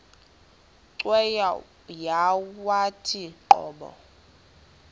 cweya yawathi qobo